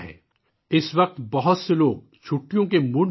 اس وقت بہت سے لوگ چھٹیوں کے موڈ میں بھی ہیں